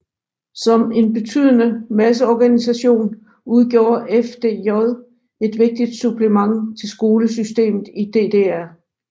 Som en betydende masseorganisation udgjorde FDJ et vigtigt supplement til skolesystemet i DDR